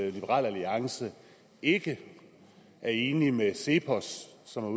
at liberal alliance ikke er enig med cepos som har